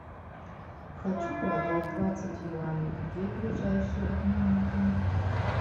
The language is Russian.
хочу продать двадцать юаней где ближайший обменный пункт